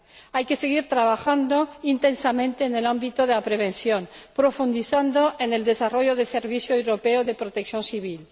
Hay que seguir trabajando intensamente en el ámbito de la prevención, profundizando en el desarrollo del servicio europeo de protección civil.